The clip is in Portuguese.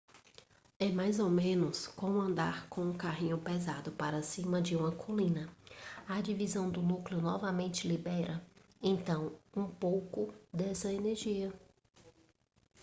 é mais ou menos como andar com um carrinho pesado para cima de uma colina a divisão do núcleo novamente libera então um pouco dessa energia